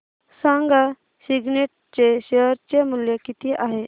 सांगा सिग्नेट चे शेअर चे मूल्य किती आहे